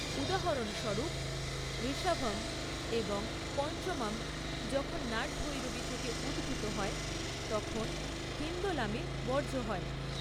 উদাহরণস্বরূপ, ঋষভম এবং পঞ্চমম যখন নাটভৈরবী থেকে উদ্ভূত হয় তখন হিন্দোলামে বর্জ্য হয়।